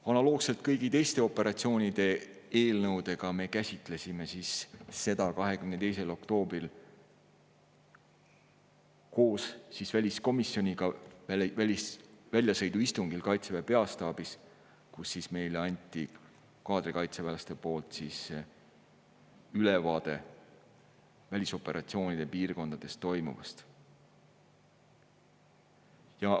Analoogselt kõigi teiste operatsioonide eelnõudega me käsitlesime seda 22. oktoobril koos väliskomisjoniga väljasõiduistungil Kaitseväe peastaabis, kus kaadrikaitseväelased andsid meile ülevaate välisoperatsioonide piirkondades toimuvast.